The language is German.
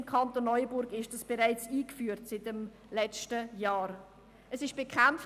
Im Kanton Neuenburg ist dies bereits seit letztem Jahr eingeführt.